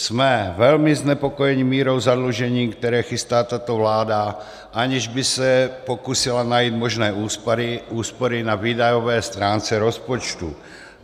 Jsme velmi znepokojeni mírou zadlužení, které chystá tato vláda, aniž by se pokusila najít možné úspory na výdajové stránce rozpočtu.